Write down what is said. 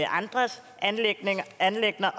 andres anliggender